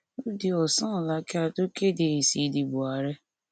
ó di ọsán ọla kí a tó kéde èsì ìdìbò àárẹ